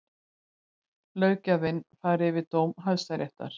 Löggjafinn fari yfir dóm Hæstaréttar